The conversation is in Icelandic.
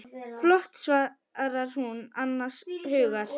Flott, svarar hún annars hugar.